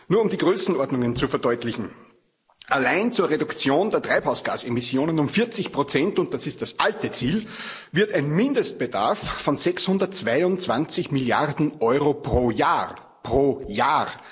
Nur um die Größenordnungen zu verdeutlichen Allein zur Reduktion der Treibhausgasemissionen um 40 und das ist das alte Ziel wird ein Mindestbedarf von 622 Milliarden Euro pro Jahr pro Jahr!